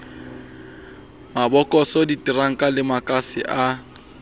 mabokose diteranka le makase a